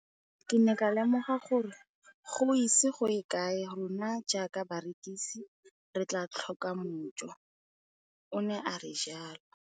Ke ne ka lemoga gore go ise go ye kae rona jaaka barekise re tla tlhoka mojo, o ne a re jalo.